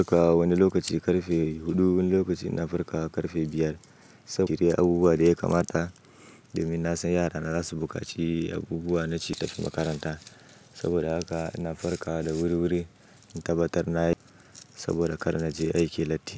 Farka wa wani lokaci karfe huɗu, wani lokaci ina farkawa karfe biyar. Saboda inyi abubuwa da ya kamata domin na san yarana za su bukaci abubuwa na ci tafi makaranta. Soboda aka ina farkawa da wuri wuri in tabbatar nayi, saboda kar naje aiki latti.